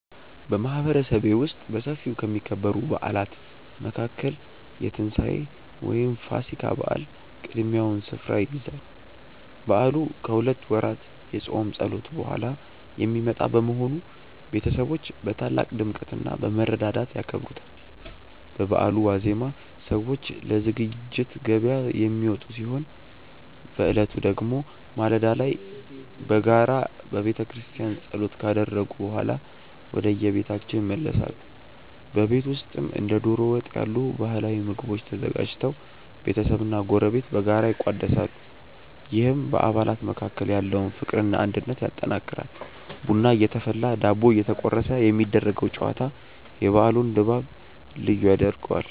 በማህበረሰቤ ውስጥ በሰፊው ከሚከበሩ በዓላት መካከል የትንሳኤ (ፋሲካ) በዓል ቀዳሚውን ስፍራ ይይዛል። በዓሉ ከሁለት ወራት የጾም ጸሎት በኋላ የሚመጣ በመሆኑ፣ ቤተሰቦች በታላቅ ድምቀትና በመረዳዳት ያከብሩታል። በበዓሉ ዋዜማ ሰዎች ለዝግጅት ገበያ የሚወጡ ሲሆን፣ በዕለቱ ደግሞ ማለዳ ላይ በጋራ በቤተክርስቲያን ጸሎት ካደረጉ በኋላ ወደየቤታቸው ይመለሳሉ። በቤት ውስጥም እንደ ዶሮ ወጥ ያሉ ባህላዊ ምግቦች ተዘጋጅተው ቤተሰብና ጎረቤት በጋራ ይቋደሳሉ፤ ይህም በአባላት መካከል ያለውን ፍቅርና አንድነት ያጠናክራል። ቡና እየተፈላና ዳቦ እየተቆረሰ የሚደረገው ጨዋታ የበዓሉን ድባብ ልዩ ያደርገዋል።